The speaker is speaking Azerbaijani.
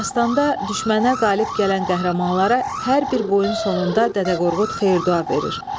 Dastanda düşmənə qalib gələn qəhrəmanlara hər bir boyun sonunda Dədə Qorqud xeyir-dua verir.